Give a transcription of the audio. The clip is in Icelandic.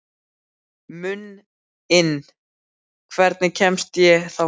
Muninn, hvernig kemst ég þangað?